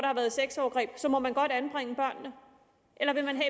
har været sexovergreb så må man godt anbringe børnene eller vil man